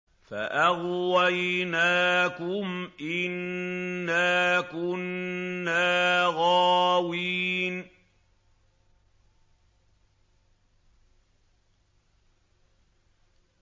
فَأَغْوَيْنَاكُمْ إِنَّا كُنَّا غَاوِينَ